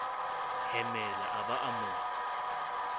hemela a ba a mo